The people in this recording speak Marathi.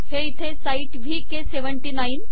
हे इथे साइट वीके 79